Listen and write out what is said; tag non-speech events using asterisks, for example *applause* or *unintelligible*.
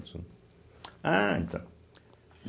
*unintelligible* Ah, então.